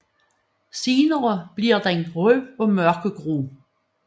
Senere bliver den ru og mørkegrå